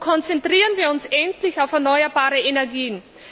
Konzentrieren wir uns endlich auf erneuerbare Energien!